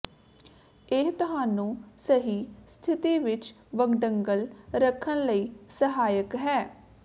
ਇਹ ਤੁਹਾਨੂੰ ਸਹੀ ਸਥਿਤੀ ਵਿੱਚ ਵੰਗਡਲ ਰੱਖਣ ਲਈ ਸਹਾਇਕ ਹੈ